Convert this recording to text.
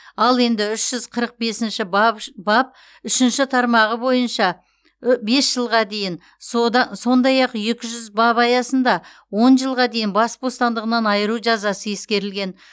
ал енді үш жүз қырық бесінші бап үшінші тармағы бойынша бес жылға дейін сондай ақ екі жүз бап аясында он жылға дейін бас бостандығынан айыру жазасы ескерілген